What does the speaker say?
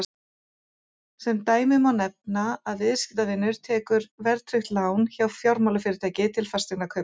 sem dæmi má nefna að viðskiptavinur tekur verðtryggt lán hjá fjármálafyrirtæki til fasteignakaupa